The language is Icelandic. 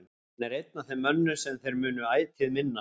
Hann er einn af þeim mönnum sem þeir munu ætíð minnast.